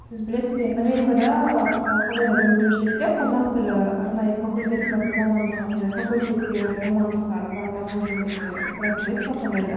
сіз білесіз бе америкада мысалы қандай да бір университетте қазақ тілі арнайы факультеті бар ма мамандығы андай факультеттер мамандықтар бар ма сол жөнінде біраз білесіз бе қандай да